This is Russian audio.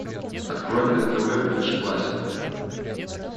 открой мне на тв бридж классик